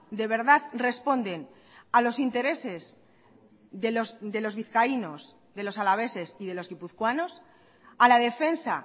de verdad responden a los intereses de los vizcaínos de los alaveses y de los guipuzcoanos a la defensa